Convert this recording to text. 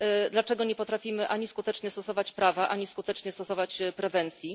Dlaczego nie potrafimy ani skutecznie stosować prawa, ani skutecznie stosować prewencji?